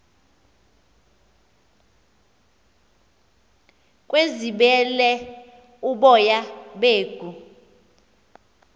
kwebizelwa uboya beegu